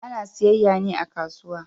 Ana siyayya ne a kasuwa.